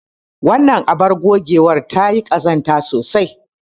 Wannan abar ogewar ta yi ƙazanta sosai.